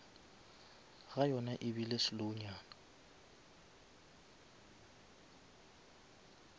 ga yona ebile slow nyana